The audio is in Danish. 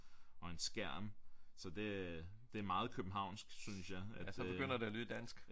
Og en skærm så det øh det er meget københavnsk synes jeg at øh